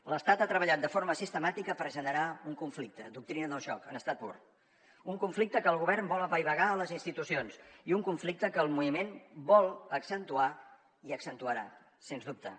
l’estat ha treballat de forma sistemàtica per generar un conflicte doctrina del xoc en estat pur un conflicte que el govern vol apaivagar a les institucions i un conflicte que el moviment vol accentuar i accentuarà sens dubte